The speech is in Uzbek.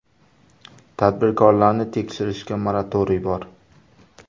Tadbirkorlarni tekshirishga moratoriy bor.